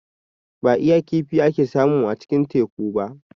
Ba iya kifi ake samu a cikin Teku ba.